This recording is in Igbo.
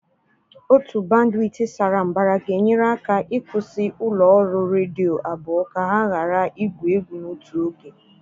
Otu bandwit sara mbara ga-enyere aka ịkwụsị ụlọ ọrụ redio abụọ ka ha ghara igwu egwu n'otu oge.